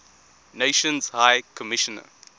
nations high commissioner